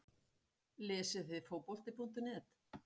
Lesið þið Fótbolti.net?